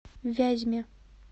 вязьме